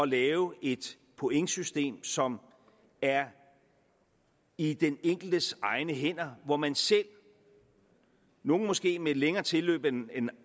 lave et pointsystem som er i den enkeltes egne hænder og hvor man selv nogle måske med et længere tilløb